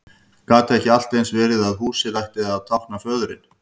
Gat ekki allt eins verið að húsið ætti að tákna föðurinn?